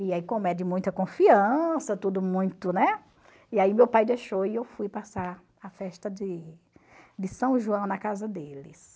E aí como é de muita confiança, tudo muito, né, e aí meu pai deixou e eu fui passar a festa de de São João na casa deles.